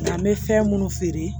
An bɛ fɛn minnu feere